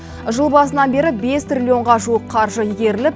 жыл басынан бері бес триллионға жуық қаржы игеріліп